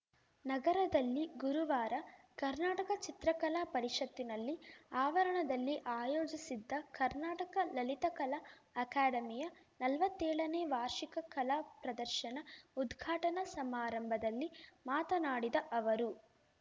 ನಗರದಲ್ಲಿ ಗುರುವಾರ ಕರ್ನಾಟಕ ಚಿತ್ರಕಲಾ ಪರಿಷತ್ತಿನಲ್ಲಿ ಆವರಣದಲ್ಲಿ ಆಯೋಜಿಸಿದ್ದ ಕರ್ನಾಟಕ ಲಲಿತಕಲಾ ಅಕಾಡೆಮಿಯ ನಲ್ವತ್ತೇಳನೇ ವಾರ್ಷಿಕ ಕಲಾಪ್ರದರ್ಶನ ಉದ್ಘಾಟನಾ ಸಮಾರಂಭದಲ್ಲಿ ಮಾತನಾಡಿದ ಅವರು